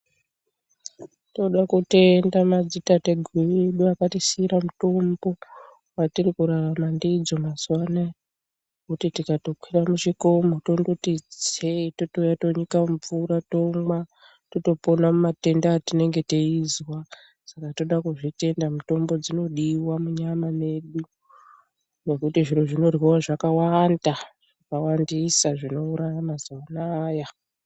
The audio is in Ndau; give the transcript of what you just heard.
Tinode kutenda madzitateguru edu akatisiira mutombo watiri kurarama ndidzo mazuwa anaya. Ngekuti tikatokwira michikomo, tototi itsei, tongouya tonyika mumvura, tomwa totopona, mumatenda etinonga teizwa, saka tinode kuzvitenda mitombo inodairwa munyama medu. Ngekuti zvinhu zvinoryiwa zvawandisa. Zvawandisa zvinouraya maziwa anaya.